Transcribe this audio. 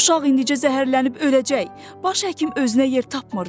Uşaq indlicə zəhərlənib öləcək, baş həkim özünə yer tapmırdı.